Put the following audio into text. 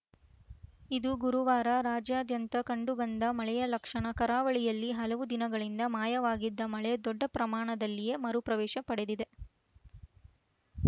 ಇದು ಗುರುವಾರ ರಾಜ್ಯಾದ್ಯಂತ ಕಂಡುಬಂದ ಮಳೆಯ ಲಕ್ಷಣ ಕರಾವಳಿಯಲ್ಲಿ ಹಲವು ದಿನಗಳಿಂದ ಮಾಯವಾಗಿದ್ದ ಮಳೆ ದೊಡ್ಡ ಪ್ರಮಾಣದಲ್ಲಿಯೇ ಮರುಪ್ರವೇಶ ಪಡೆದಿದೆ